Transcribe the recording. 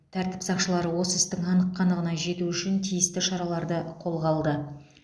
тәртіп сақшылары осы істің анық қанығына жету үшін тиісті шараларды қолға алды